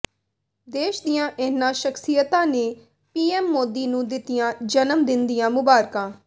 ਦੇਸ਼ ਦੀਆਂ ਇਨ੍ਹਾਂ ਸਖ਼ਸ਼ੀਅਤਾਂ ਨੇ ਪੀਐੱਮ ਮੋਦੀ ਨੂੰ ਦਿੱਤੀਆਂ ਜਨਮ ਦਿਨ ਦੀਆਂ ਮੁਬਾਰਕਾਂ